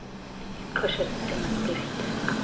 iqosha lokucima nokulayita